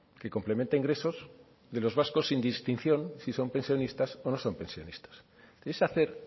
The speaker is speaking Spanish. que complementa ingresos de los vascos sin distinción si son pensionistas o no son pensionistas es hacer